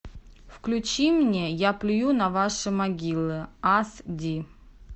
включи мне я плюю на ваши могилы ас ди